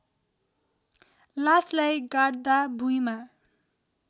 लासलाई गाड्दा भुइँमा